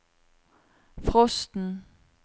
frosten